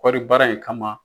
Kɔri baara in kama